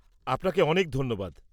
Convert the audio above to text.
আপনাকে অনেক ধন্যবাদ!